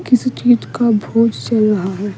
किस चीज का भोज चल रहा है।